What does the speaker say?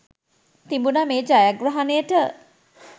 තිබුණා මේ ජයග්‍රහණයට.